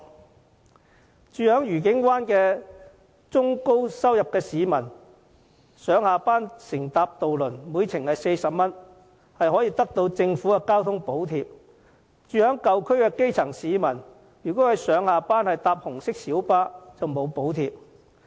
家住愉景灣的中高收入市民上下班乘搭渡輪每程40元，可獲政府的交通津貼；住在舊區的基層市民如果上下班乘搭紅色小巴，卻沒有補貼。